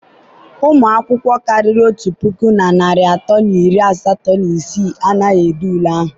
ụmụ akwụkwọ karịrị otu puku na narị atọ na iri asatọ na isii anaghị ede ule ahụ.